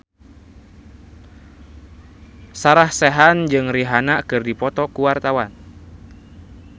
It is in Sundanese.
Sarah Sechan jeung Rihanna keur dipoto ku wartawan